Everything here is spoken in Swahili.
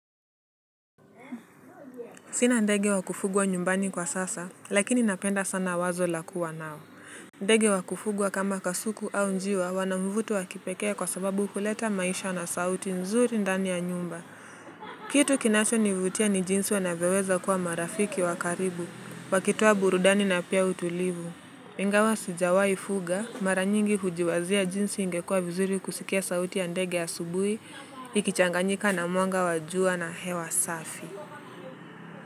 Sina ndege wa kufugwa nyumbani kwa sasa, lakini napenda sana wazo la kuwa nao. Ndege wa kufugwa kama kasuku au njiwa, wana mvuto wa kipekee kwa sababu huleta maisha na sauti nzuri ndani ya nyumba. Kitu kinachonivutia ni jinsi wanavyoweza kuwa marafiki wa karibu, wakitoa burudani na pia utulivu. Ingawa sijawaifuga, mara nyingi hujiwazia jinsi ingekua vizuri kusikia sauti ya ndege ya asubuhi, ikichanganyika na mwanga wa jua na hewa safi.